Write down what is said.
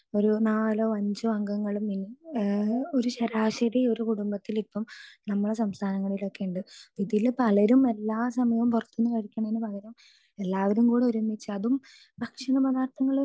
speaker 2 നാലോ അഞ്ചോ അംഗങ്ങൾ ഒരു ശരാശരി ഒരു കുടുംബത്തിൽ ഇപ്പൊ നമ്മുടെ സംസ്ഥാനങ്ങളിലൊക്കെ ഉണ്ട് ഇതിൽ പലരും എല്ലാ സമയും പുറത്തുന്നു കഴിക്കുന്നതിന് പകരം എല്ലാവരും കൂടെ ഒരുമിച്ച് അതും ഭക്ഷണ പദാർത്ഥങ്ങൾ